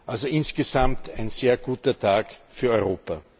Also insgesamt ein sehr guter Tag für Europa.